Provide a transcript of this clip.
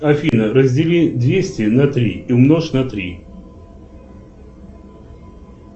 афина раздели двести на три и умножь на три